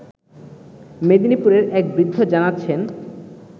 মেদিনীপুরের এক বৃদ্ধ জানাচ্ছেন